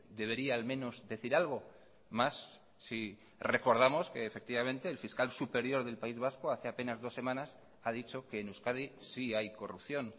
debería al menos decir algo más si recordamos que efectivamente el fiscal superior del país vasco hace apenas dos semanas ha dicho que en euskadi sí hay corrupción